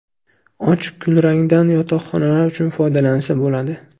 Och kulrangdan yotoqxonalar uchun foydalansa bo‘ladi.